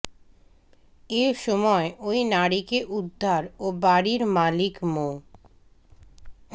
এ সময় ওই নারীকে উদ্ধার ও বাড়ির মালিক মো